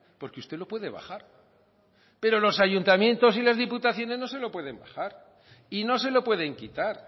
porque usted lo puede bajar pero los ayuntamientos y las diputaciones no se lo pueden bajar y no se lo pueden quitar